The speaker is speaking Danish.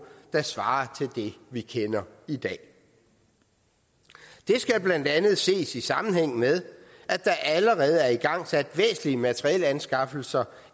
der svarer til det vi kender i dag det skal blandt andet ses i sammenhæng med at der allerede er igangsat væsentlige materielanskaffelser